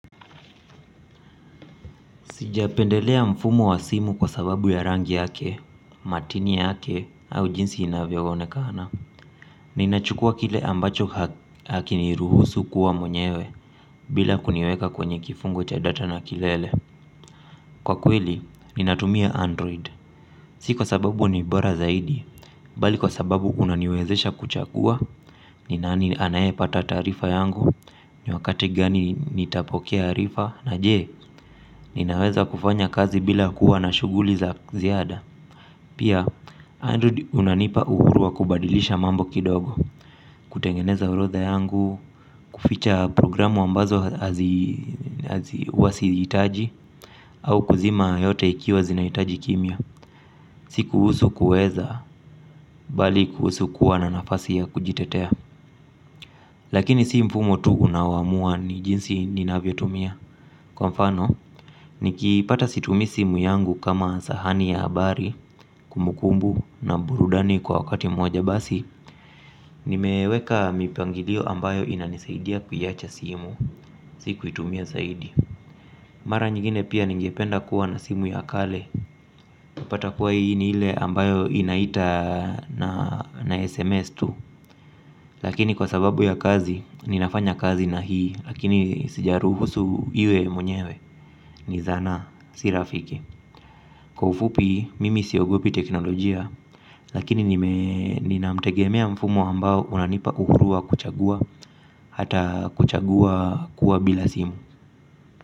Sijapendelea mfumo wa simu kwa sababu ya rangi yake, matini yake, au jinsi inavyoonekana. Ninachukua kile ambacho hakiniruhusu kuwa mwenyewe bila kuniweka kwenye kifungo cha data na kilele. Kwa kweli, ninatumia android. Si kwa sababu ni bora zaidi, bali kwa sababu unaniwezesha kuchagua, ni nani anayepata taarifa yangu. Ni wakati gani nitapokea arifa. Na je, ninaweza kufanya kazi bila kuwa na shughuli za ziada. Pia, Android unanipa uhuru wa kubadilisha mambo kidogo. Kutengeneza orodha yangu. Kuficha programu ambazo huwa sihitaji au kuzima yote ikiwa zinahitaji kimya. Si kuhusu kuweza, bali kuhusu kuwa na nafasi ya kujitetea. Lakini si mfumo tu unaoamua ni jinsi ninavyoitumia. Kwa mfano, nikipata situmii simu yangu kama sahani ya habari, kumbukumbu na burudani kwa wakati mmoja basi. Nimeweka mipangilio ambayo inanisaidia kuiwacha simu, si kuitumia zaidi. Mara nyingine pia ningependa kuwa na simu ya kale. Kupata kuwa hii ni ile ambayo inaita na SMS tu. Lakini kwa sababu ya kazi, ninafanya kazi na hii. Lakini sijaruhusu iwe mwenyewe ni zana si rafiki. Kwa ufupi mimi siogopi teknolojia. Lakini nina mtegemea mfumo ambao unanipa uhuru wa kuchagua. Hata kuchagua kuwa bila simu.